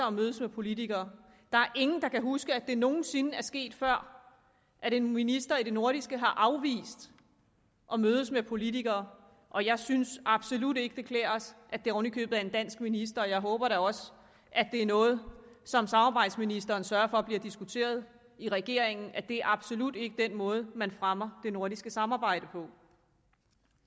at mødes med politikere der er ingen der kan huske at det nogen sinde er sket før at en minister i det nordiske har afvist at mødes med politikere og jeg synes absolut ikke det klæder os at det oven i købet er en dansk minister og jeg håber da også at det er noget som samarbejdsministeren vil sørge for bliver diskuteret i regeringen altså at det absolut ikke er den måde man fremmer det nordiske samarbejde på